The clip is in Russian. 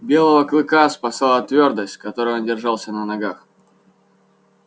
белого клыка спасала твёрдость с которой он держался на ногах